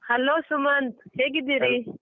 Hello Sumanth ಹೇಗಿದ್ದೀರಿ?